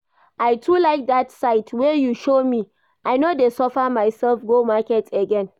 I too like that site wey you show me, I no dey suffer myself go market again